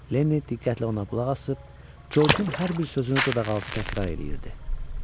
Lenni diqqətlə ona qulaq asıb Corcun hər bir sözünü dodaqaltı təkrar eləyirdi.